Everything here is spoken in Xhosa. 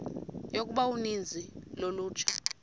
yokuba uninzi lolutsha